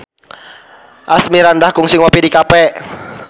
Asmirandah kungsi ngopi di cafe